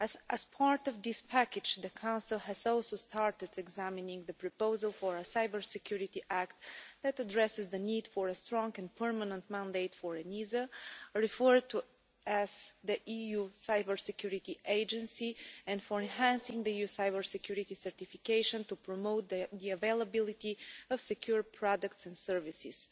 As part of this package, the Council has also started examining the proposal for a Cybersecurity Act that addresses the need for a strong and permanent mandate for ENISA, referred to as the EU Cybersecurity Agency, and for enhancing the EU cybersecurity certification to promote the availability of secure products and services.